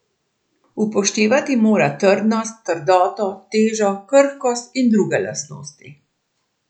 Upoštevati mora trdnost, trdoto, težo, krhkost in druge lastnosti.